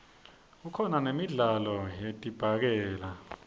kukhona nemidlalo yedibhakela